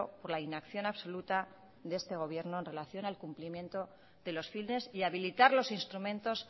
por la inacción absoluta de este gobierno en relación al cumplimiento de los fines y habilitar los instrumentos